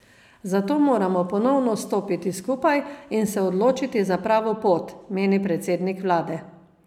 Zato moramo ponovno stopiti skupaj in se odločiti za pravo pot, meni predsednik vlade.